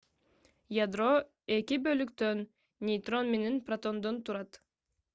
ядро 2 бөлүктөн нейтрон менен протондон турат